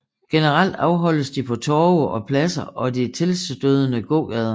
Generelt afholdes de på torve og pladser og i de tilstødende gågader